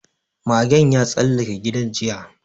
Magen ya tsallake gidan jiya